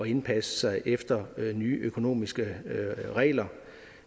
indpasse sig efter nye økonomiske regler